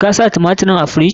Ka sa tumatirin a firiji?